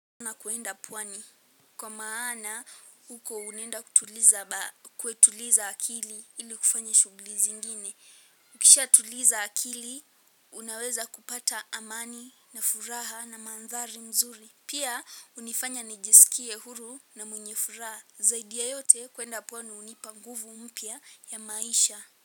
Na kuenda pwani, kwa maana huko unaenda kutuliza akili ili kufanya shughuli zingine. Ukishatuliza akili, unaweza kupata amani na furaha na manthari mzuri. Pia, hunifanya nijisikie huru na mwenye furaha. Zaidi ya yote kuenda pwani hunipa nguvu mpya ya maisha.